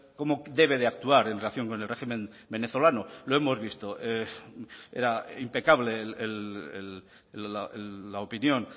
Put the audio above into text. cómo debe de actuar en relación con el régimen venezolano lo hemos visto era impecable la opinión